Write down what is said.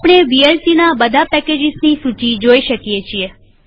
અહીં આપણે વીએલસીના બધા પેકેજીસની સૂચી જોઈ શકીએ છીએ